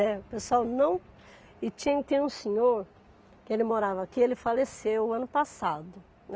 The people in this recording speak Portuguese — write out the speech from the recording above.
Né. O pessoal não... E tinha, tem um senhor que ele morava aqui, ele faleceu ano passado, né.